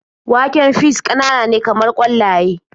Waken fis ƙananane kamar ƙwallaye.